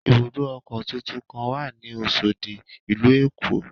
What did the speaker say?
Ibùdó ọkọ̀ tuntun kan wà ní Oṣòdì, ìlú Èkó.